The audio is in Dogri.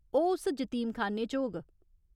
ओह् उस जतीमखान्ने च होग।